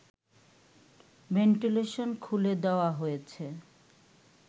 ventilation খুলে দেওয়া হয়েছে